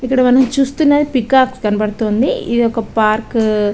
ఇక్కడా మనం చూస్తుంది పీకాక్ కనపడుతుంది ఇది ఒక పార్క్ .